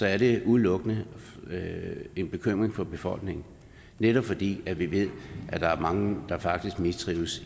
er det udelukkende en bekymring for befolkningen netop fordi vi ved at der er mange der faktisk mistrives